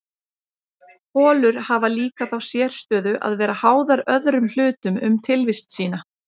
holur hafa líka þá sérstöðu að vera háðar öðrum hlutum um tilvist sína